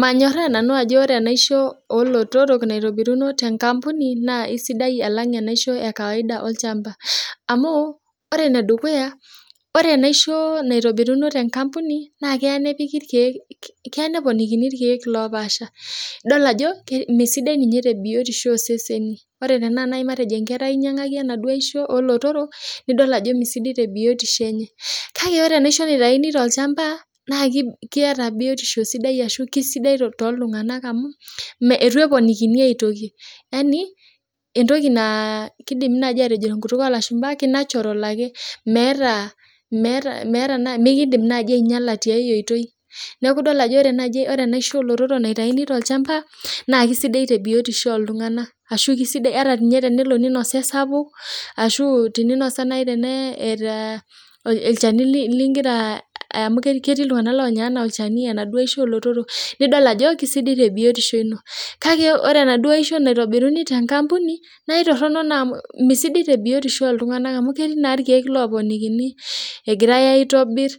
Manyorraa nanu ajo ore enaishoo oo lotorok nairobiruno te nkampuni na eisidai alang' enaisho ekawaida olchampa amuu, ore ene dukuya oree enaisho naitobiruno tee nkampuni naa keya nepiki iryek keya neponikini irkyek oopaasha idol ajo meesidai ninye tebiotisho oo seseni, ore tenaa naji matejo enkerai nayii inyang'aki enaduo aishoo oo lotorok nidol ajo mee sidai tee biotisho enye kake ore enaisho naitauni tolchampa naa keeta biotisho sidai arashu kesidai too iltung'anak amuu itu eponikini aitoki, matejoo entoki naa keidim naaji atejo tenkutuk oo lashumpa kei natural ake meetaa meetaa mekiidim najii ainyala tiai oitoi neeku idol ajo oree naaji enaishoo ooo lotork naitayuni tolchampa naa kesidai tee biotishoo oo ltung'anak arashu kesidai ata ninye tenelo ninasa esapuk ashuu teninusa nayii eeta olchani amu ketii iltung'anak oonya enaa olchani enaduoo aisho oo lotorok nidol ajo kesidai tebiotishoo ino, kakee ore enaduoo aisho naitobiruni tenkampuni naa itoronok naa amu mesidai tee biotishoo oo ltung'anak amu ketii naa irkiek looponikini egirae aitobir,